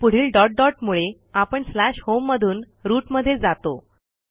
आणि पुढील dot dot मुळे आपण स्लॅश होम मधून रूट मध्ये जातो